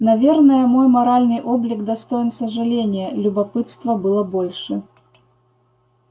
наверное мой моральный облик достоин сожаления любопытства было больше